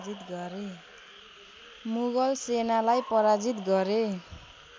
मुगल सेनालाई पराजित गरे